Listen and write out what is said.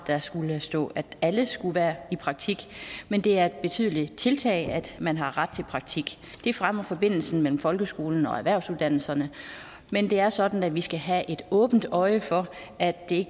der skulle have stået at alle skulle være i praktik men det er et betydeligt tiltag at man har fået ret til praktik det fremmer forbindelsen mellem folkeskolen og erhvervsuddannelserne men det er sådan at vi skal have øje for at det